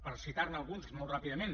per citarne alguns molt ràpidament